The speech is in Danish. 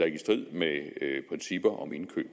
ikke i strid med principper om indkøb